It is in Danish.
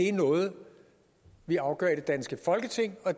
er noget vi afgør i det danske folketing og